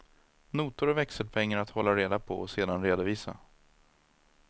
Notor och växelpengar att hålla reda på och sedan redovisa.